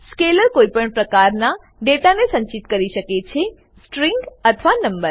scalar કોઈ પણ પ્રકારના ડેટાને સંચિત કરી શકે છેસ્ટ્રીંગ અથવા નંબર